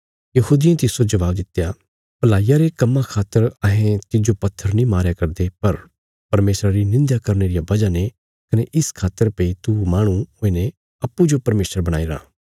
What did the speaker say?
यहूदियें तिस्सो जबाब दित्या भलाईया रे कम्मां खातर अहें तिज्जो पत्थर नीं मारया करदे पर परमेशरा री निंध्या करने रिया बजह ने कने इस खातर भई तू माहणु हुईने अप्पूँजो परमेशर बणाईराँ